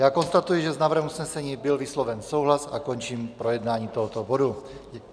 Já konstatuji, že s návrhem usnesení byl vysloven souhlas, a končím projednání tohoto bodu.